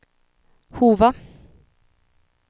Hova